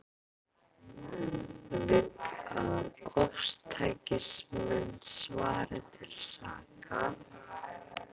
Vill að ofstækismenn svari til saka